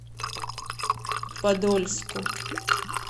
подольску